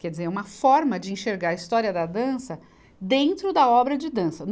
Quer dizer, é uma forma de enxergar a história da dança dentro da obra de dança.